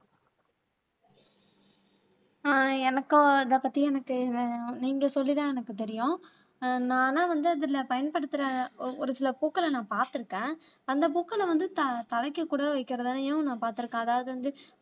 ஆஹ் எனக்கும் அதை பத்தி எனக்கு நீங்க சொல்லித்தான் எனக்கு தெரியும் ஆஹ் நானா வந்து அதுல பயன்படுத்துற ஒ ஒரு சில பூக்களை நான் பார்த்திருக்கேன் அந்த பூக்களை வந்து த தலைக்கு கூட வைக்கிறதையும் நான் பார்த்திருக்கேன் அதாவது வந்து